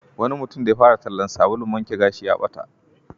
Wani mutum da ya fara tallan sabulun wanke gashi ya bata.